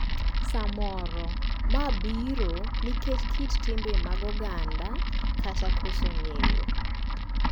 Samoro, ma biro nikech kit timbe mag oganda kata koso ng'eyo.